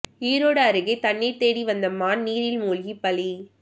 ஈரோடு அருகே தண்ணீர் தேடி வந்த மான் நீரில் மூழ்கி பலி